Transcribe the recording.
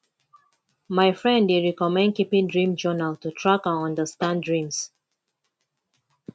my friend dey recommend keeping dream journal to track and understand dreams